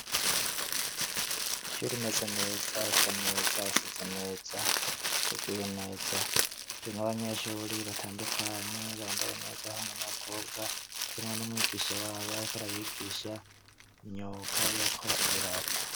Ishure imeze neza, isa neza, isize neza, iteguye neza, irimwo abanyeshuye batandukanye bambaye neza, abahungu n'abakobwa harimwo n'umwigisha wabo ariko arabigisha imyuga yo gukora ibirato.